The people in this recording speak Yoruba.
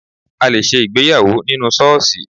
A lè ṣe ìgbéyàwó nínú ṣọ́ọ̀ṣì